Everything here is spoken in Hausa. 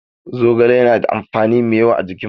Zogale yana da amfani mai yawa ga jikin mutum.